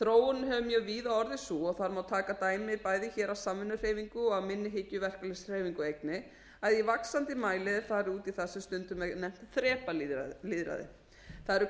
þróunin hefur mjög víða orðið sú og þar má taka dæmi bæði hér af samvinnuhreyfingu og að minni hyggju verkalýðshreyfingu einnig að í vaxandi mæli er farið út í það sem stundum er nefnt þrepalýðræði það eru